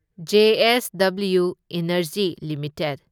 JSW energy limited